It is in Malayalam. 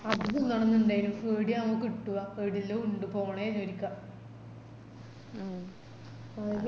അത് തിന്നണനിന്ടെനു എടയാവോ കിട്ടുവാ എഡെല്ലോ ഇണ്ട് പോണേനു ഒരിക്ക മ്